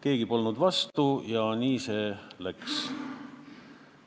Keegi polnud vastu ja nii see läks.